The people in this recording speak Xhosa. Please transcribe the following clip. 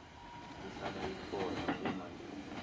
kuhlala ikhona kumalungu